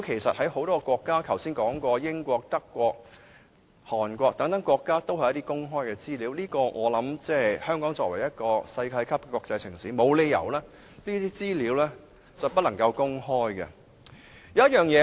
在很多國家，例如剛才提到的英國、德國和韓國等，這些都是公開資料，而香港作為世界級國際城市，沒有理由不能公開這些資料。